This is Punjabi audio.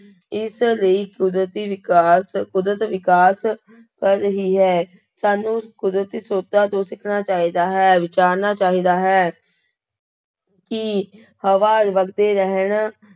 ਇਸ ਲਈ ਕੁਦਰਤੀ ਵਿਕਾਸ, ਕੁਦਰਤ ਵਿਕਾਸ ਕਰ ਰਹੀ ਹੈ, ਸਾਨੂੰ ਕੁਦਰਤੀ ਸ੍ਰੋਤਾਂ ਤੋਂ ਸਿੱਖਣਾ ਚਾਹੀਦਾ ਹੈ, ਵਿਚਾਰਨਾ ਚਾਹੀਦਾ ਹੈ ਕਿ ਹਵਾ ਵਗਦੇ ਰਹਿਣ